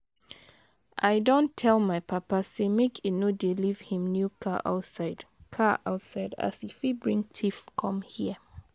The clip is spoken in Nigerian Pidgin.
I don tell my papa sey make e no dey leave him new car outside car outside as e fit bring tiff com here.